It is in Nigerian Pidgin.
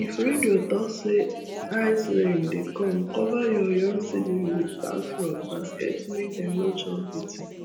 if radio talk say icerain dey come cover your young seedling with palm frond basket make dem no chop beating